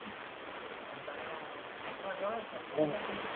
अरे चलना तुम्हा दोघांचा खर्च मी करतो ना नाय